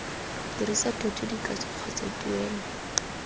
dirisa thoto dikatso kgotsa tuelo